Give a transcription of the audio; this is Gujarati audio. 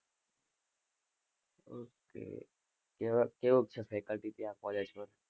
ok કેવુંક છે faculty ત્યાં college માં?